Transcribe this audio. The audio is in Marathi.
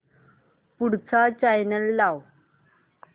पुढचा चॅनल लाव